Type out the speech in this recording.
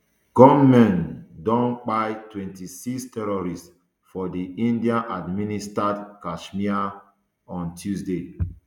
gunmen um don kpai twenty-six tourists for di indianadminstered kasmir on tuesday